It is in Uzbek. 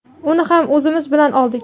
uni ham o‘zimiz bilan oldik.